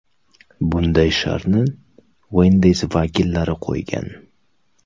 Bunday shartni Wendy’s vakillari qo‘ygan.